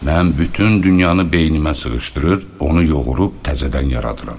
Mən bütün dünyanı beynimə sığışdırır, onu yoğurub təzədən yaradıram.